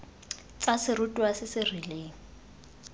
tsa serutwa se se rileng